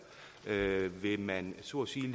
man så at sige